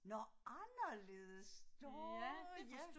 Nåh anderledes nåh ja